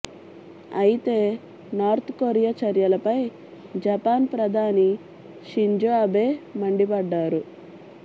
అయితే North Korea చర్యలపై Japan ప్రధాని షింజో అబే మండిపడ్డారు